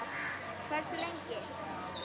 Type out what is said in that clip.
Hversu lengi?